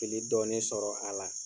I bi dɔɔnin sɔrɔ a la.